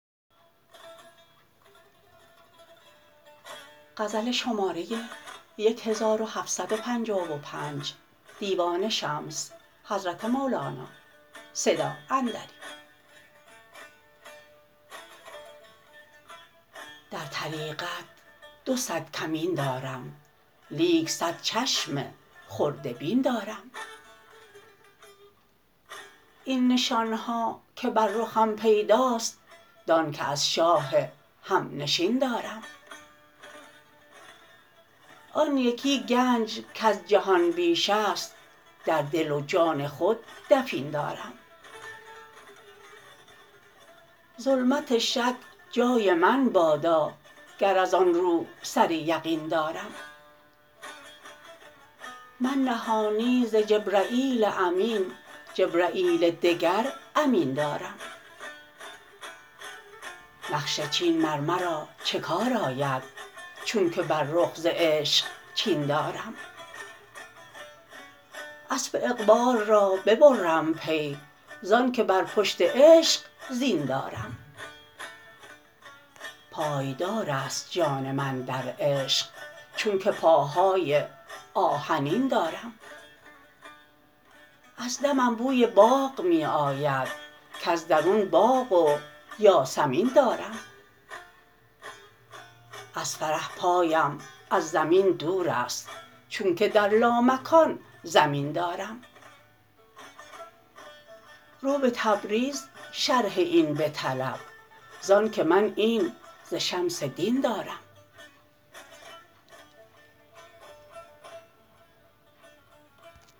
در طریقت دو صد کمین دارم لیک صد چشم خرده بین دارم این نشان ها که بر رخم پیداست دانک از شاه هم نشین دارم آن یکی گنج کز جهان بیش است در دل و جان خود دفین دارم ظلمت شک جای من بادا گر از آن رو سر یقین دارم من نهانی ز جبرییل امین جبرییل دگر امین دارم نقش چین مر مرا چه کار آید چونک بر رخ ز عشق چین دارم اسپ اقبال را ببرم پی زانک بر پشت عشق زین دارم پای دار است جان من در عشق چونک پاهای آهنین دارم از دمم بوی باغ می آید کز درون باغ و یاسمین دارم از فرح پایم از زمین دور است چونک در لامکان زمین دارم رو به تبریز شرح این بطلب زانک من این ز شمس دین دارم